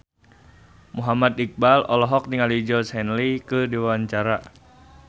Muhammad Iqbal olohok ningali Georgie Henley keur diwawancara